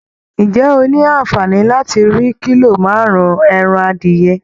Ǹjẹ́ o ní àǹfààní láti rí kílò márùn-ún ẹran adìyẹ?